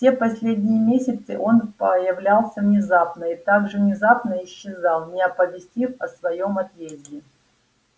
все последние месяцы он появлялся внезапно и так же внезапно исчезал не оповестив о своём отъезде